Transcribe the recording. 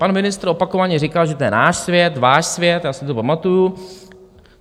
Pan ministr opakovaně říkal, že to je náš svět, váš svět, já si to pamatuju.